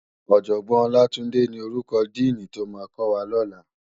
Òjògbòn Olatunde ni órúkò dìní tó má kòwá lòlá